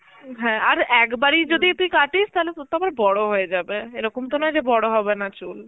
হ্যাঁ আর একবারই যদি তুই কাটিস তাহলে তোর তো আবার বড় হয়ে যাবে এরকম তো নয় যে বড় হবে না চুল